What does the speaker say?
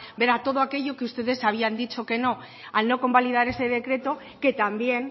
ver a todo aquello que ustedes habían dicho que no al no convalidar ese decreto que también